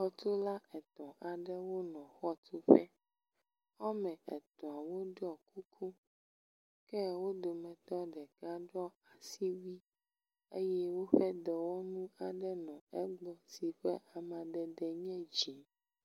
Xɔtula etɔ̃ aɖewo le xɔtuƒe. Wɔme etɔ̃ woɖɔ kuku ke wo dometɔ ɖeka ɖo asiwui eye woƒe dɔwɔnu aɖe le egbɔ si ƒe amadede nye dzi.